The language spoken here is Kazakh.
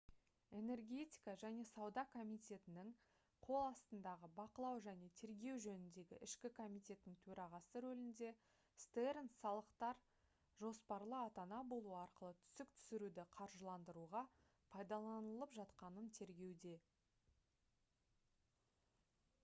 энергетика және сауда комитетінің қол астындағы бақылау және тергеу жөніндегі ішкі комитеттің төрағасы рөлінде стернс салықтар «жоспарлы ата-ана болу» арқылы түсік түсіруді қаржыландыруға пайдаланылып жатқанын тергеуде